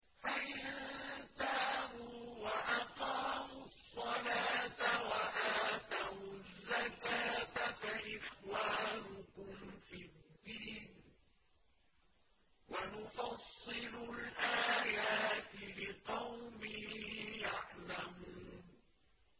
فَإِن تَابُوا وَأَقَامُوا الصَّلَاةَ وَآتَوُا الزَّكَاةَ فَإِخْوَانُكُمْ فِي الدِّينِ ۗ وَنُفَصِّلُ الْآيَاتِ لِقَوْمٍ يَعْلَمُونَ